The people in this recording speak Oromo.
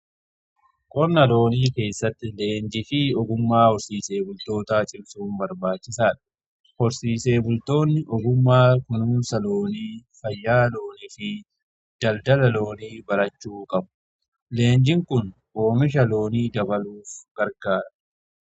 Horsiisa loonii keessatti leenjii fi ogummaa horsiisee bultoota cimsuun barbaachisaadha. Horsiisee bultoonni ogummaa kunuunsa loonii, fayyaa loonii fi daldala loonii barachuu qabu. Leenjin kun oomisha loonii dabaluuf gargaara.